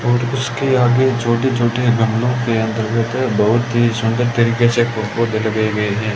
और उसके आगे छोटे छोटे गमलों के अंतर्गत बहुत ही सुंदर तरीके से पौधे लगे हुए हैं।